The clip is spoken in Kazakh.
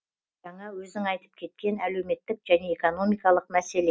жаңа өзің айтып кеткен әлеуметтік және экономикалық мәселе